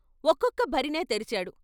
ఒక్కొక్క భరిణే తెరిచాడు.